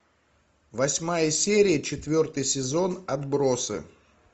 восьмая серия четвертый сезон отбросы